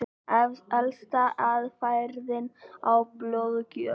Elsta aðferðin er blóðgjöf.